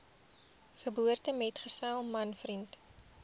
geboortemetgesel man vriend